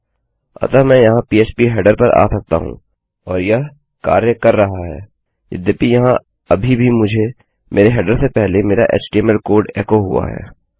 अतः मैं यहाँ फीडर पर आ सकता हूँ और यह कार्य कर रहा है यद्यपि यहाँ अभी भी मुझे मेरे हेडर से पहले मेरा एचटीएमएल कोड एको हुआ है